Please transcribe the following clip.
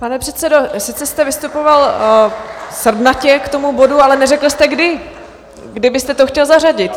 Pane předsedo, sice jste vystupoval srdnatě k tomu bodu, ale neřekl jste, kdy byste to chtěl zařadit.